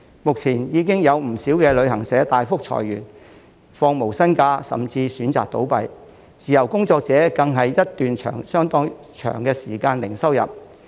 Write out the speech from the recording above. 目前，已有不少旅行社大幅裁員、放無薪假，甚至選擇倒閉，自由工作者更是一段相當長的時間零收入。